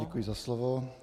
Děkuji za slovo.